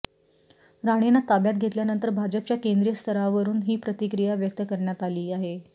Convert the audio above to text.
राणेंना ताब्यात घेतल्यानंतर भाजपाच्या केंद्रीय स्तरावरून ही प्रतिक्रिया व्यक्त करण्यात आली आहे